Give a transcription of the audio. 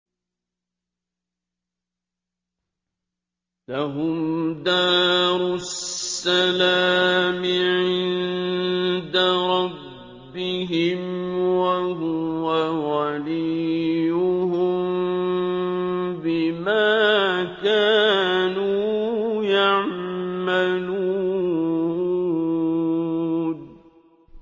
۞ لَهُمْ دَارُ السَّلَامِ عِندَ رَبِّهِمْ ۖ وَهُوَ وَلِيُّهُم بِمَا كَانُوا يَعْمَلُونَ